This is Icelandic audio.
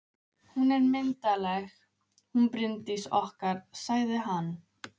Hún er myndarleg, hún Bryndís okkar, sagði hann.